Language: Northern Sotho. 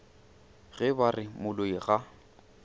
ge ba re moloi ga